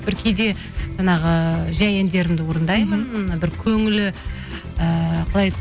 бір кейде жаңағы жай әндерімді орындаймын бір көңілі ііі қалай еді